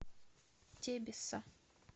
тебесса